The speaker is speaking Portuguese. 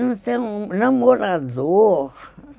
Ele não tem namorador, né?